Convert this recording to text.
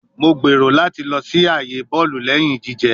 Mo gbero lati lọ si aaye bọọlu lẹhin jijẹ